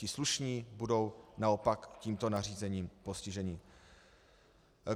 Ti slušní budou naopak tímto nařízením postiženi.